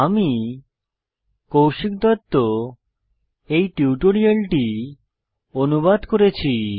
আমি কৌশিক দত্ত এই টিউটোরিয়ালটি অনুবাদ করেছি